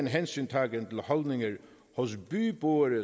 hensyn til holdninger hos byboere